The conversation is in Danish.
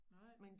Nej